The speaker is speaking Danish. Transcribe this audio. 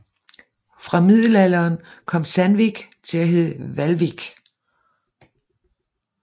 Fra middelalderen kom Sandvík til at hedde Hvalvík